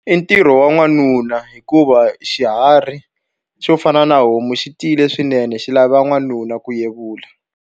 I ntirho wa n'wanuna hikuva xiharhi xo fana na homu xi tiyile swinene xi lava n'wanuna ku yevula.